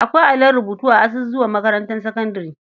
Akwai allon rubutu a azuzuwan makarantar sakandare.